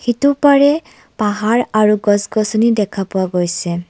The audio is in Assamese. ইটো পাৰে পাহাৰ আৰু গছ গছনি দেখা পোৱা গৈছে।